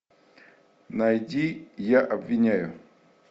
найди я обвиняю